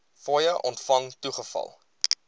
fooie ontvang toegeval